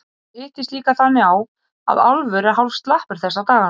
Það hittist líka þannig á að Álfur er hálf slappur þessa dagana.